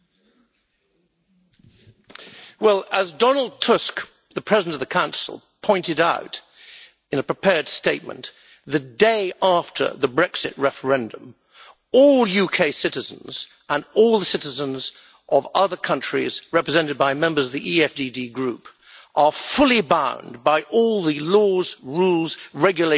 As Donald Tusk, the President of the Council, pointed out in a prepared statement the day after the Brexit referendum, all UK citizens and all the citizens of other countries represented by members of the EFDD Group are fully bound by all the laws, rules, regulations and directives of the European Union.